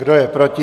Kdo je proti?